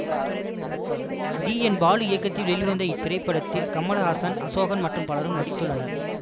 T N Balu இயக்கத்தில் வெளிவந்த இத்திரைப்படத்தில் கமல்ஹாசன் அசோகன் மற்றும் பலரும் நடித்துள்ளனர்